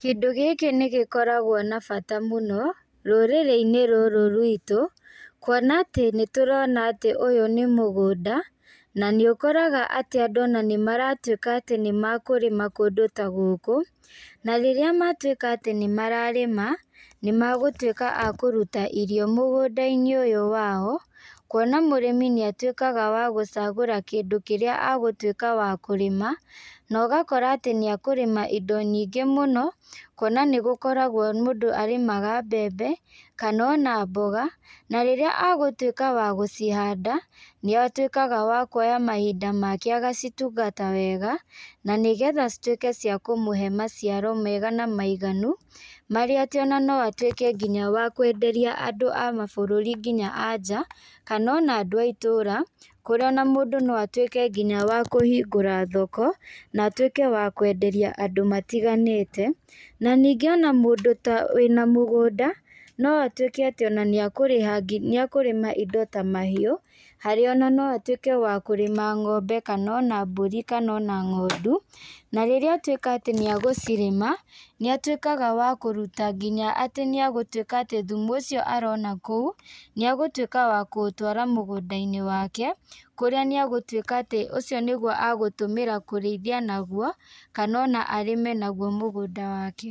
Kindũ gĩkĩ nĩgĩkoragwo na bata mũno, rũrĩrĩinĩ rũrũ rwitũ, kuona atĩ nĩtũrona atĩ ũyũ nĩ mũgũnda, na nĩũkoraga atĩ andũ ona nĩmaratuĩka atĩ nĩmakũrĩma kũndũ ta gũkũ, na rĩrĩa matuĩka atĩ nĩmararĩma, nĩmagũtuĩka a kũruta irio mũgũndainĩ ũyũ wao, kuona mũrĩmi nĩatuĩkaga wa gũcagũra kĩndũ kĩrĩa agũtuĩka wa kũrĩma, na ũgakora atĩ nĩakũrĩma indo nyingĩ mũno, kuona nĩgũkoragwo mũndũ arĩmaga mbembe, kana ona mboga, na rĩrĩa agũtuĩka wa gũcihanda, nĩatuĩkaga wa kũoya mahinda make agacitungata wega, na nĩgetha cituĩke cia kũmũhe maciaro mega na maiganu, marĩa atĩ ona no atuĩke nginya wa kwenderia andũ a mabũrũri nginya a nja, kana ona andũ a itũra, kũrĩa ona mũndũ no atuĩke nginya wa kũhingũra thoko, na atuĩke wa kwenderia andũ matiganĩte, na ningĩ ona mũndũ ta wĩna mũgũnda, no atuĩke atĩ ona nĩakũrĩha ngi nĩakũrĩma indo ta mahiũ, harĩa ona no atuĩke wa kũrĩma ng'ombe kana ona mbũri, kana ona ng'ondu, na rĩrĩa atuĩka atĩ nĩagũcirĩma, nĩatuĩkaga wa kũruta nginya atĩ nĩagũtuĩka atĩ thumu ũcio arona kũu, nĩagũtuĩka wa kũũtwara mũgũndainĩ wake, kũrĩa nĩagũtuĩka atĩ ũcio nĩgũo agũtũmĩra kũrĩithia naguo, kana ona arĩme naguo mũgũnda wake.